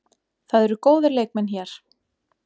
Það eru góðir leikmenn hér.